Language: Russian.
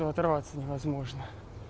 то оторваться невозможно